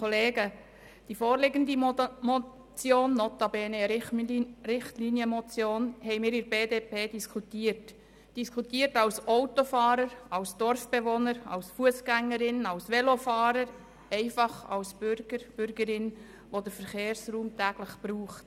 Die vorliegende Motion – notabene eine Richtlinienmotion – haben wir seitens der BDP diskutiert – diskutiert als Autofahrer, als Dorfbewohner, als Fussgängerin, als Velofahrer, einfach als Bürgerinnen und Bürger, die den Verkehrsraum täglich benutzen.